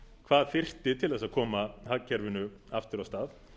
hvað þyrfti til þess að koma hagkerfinu aftur af stað